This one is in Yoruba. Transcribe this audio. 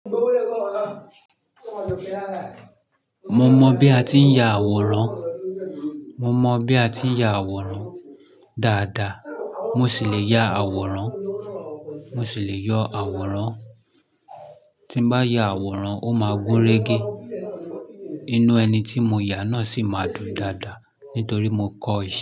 Mo mọ bí a ti ń ya àwòrán, mo mọ bí a ti ń ya àwòrán dáadáa. Mo sì le ya àwòrán, mo sì le yọ àwòrán. Tí bá ya àwòrán, ó máa gúnrégé. Inú ẹni tí mo yà náà sì máa dùn dáadáa nítorí mo kọ́ ọ yà.